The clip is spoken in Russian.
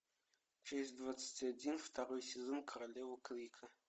часть двадцать один второй сезон королева крика